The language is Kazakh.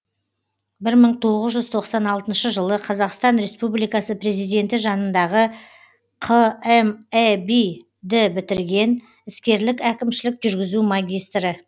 бір мың тоғыз жүз тоқсан алтыншы жылы қазақстан республикасы президенті жанындағы қмэби ді бітірген іскерлік әкімшілік жүргізу магистрі